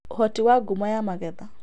Ũhoti wa ngumo ya magetha